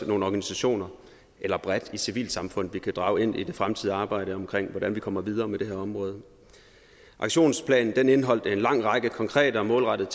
nogle organisationer og bredt hele civilsamfundet vi kunne drage ind i det fremtidige arbejde med hvordan vi kommer videre med det her område aktionsplanen indeholdt en lang række konkrete og målrettede